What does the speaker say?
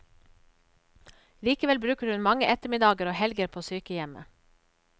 Likevel bruker hun mange ettermiddager og helger på sykehjemmet.